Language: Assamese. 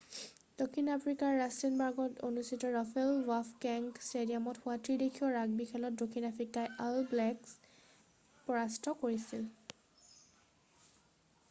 দক্ষিণ আফ্ৰিকাৰ ৰাস্তেনবাৰ্গত অৱস্থিত ৰয়েল বাফ'কেঙ্গ ষ্টেডিয়ামত হোৱা ত্ৰিদেশীয় ৰাগবি খেলত দক্ষিণ আফ্ৰিকাই অল ব্লেকছক নিউজিলেণ্ড পৰাস্ত কৰিছিল।